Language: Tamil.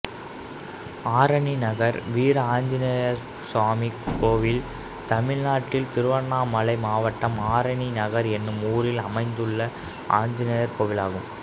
ஆரணி நகர் வீரஆஞ்சநேயசாமி கோயில் தமிழ்நாட்டில் திருவண்ணாமலை மாவட்டம் ஆரணி நகர் என்னும் ஊரில் அமைந்துள்ள ஆஞ்சநேயர் கோயிலாகும்